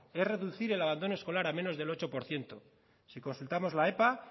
es reducir el abandono escolar al menos del ocho por ciento si consultamos la epa